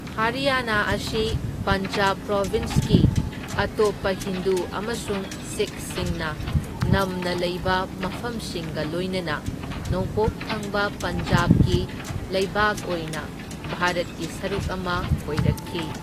ꯍꯔꯤꯌꯥꯅꯥ ꯑꯁꯤ ꯄꯟꯖꯥꯕ ꯄ꯭ꯔꯣꯚꯤꯟꯁꯀꯤ ꯑꯇꯣꯞꯄ ꯍꯤꯟꯗꯨ ꯑꯃꯁꯨꯡ ꯁꯤꯈꯁꯤꯡꯅ ꯅꯝꯅ ꯂꯩꯕ ꯃꯐꯝꯁꯤꯡꯒ ꯂꯣꯏꯅꯅ ꯅꯣꯡꯄꯣꯛ ꯊꯪꯕ ꯄꯟꯖꯥꯕꯀꯤ ꯂꯩꯕꯥꯛ ꯑꯣꯏꯅ ꯚꯥꯔꯠꯀꯤ ꯁꯔꯨꯛ ꯑꯃ ꯑꯣꯏꯔꯛꯈꯤ꯫